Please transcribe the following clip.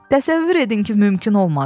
Təsəvvür edin ki, mümkün olmadı.